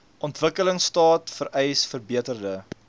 ontwikkelingstaat vereis verbeterde